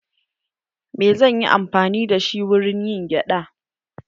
Me zanyi amfani dashi wurin yin gyada?